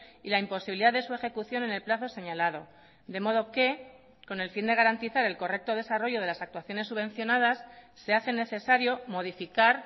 y la imposibilidad de su ejecución en el plazo señalado de modo que con el fin de garantizar el correcto desarrollo de las actuaciones subvencionadas se hace necesario modificar